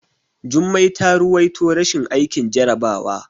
Jummai ta ruwaito rashin aikin jarabawa.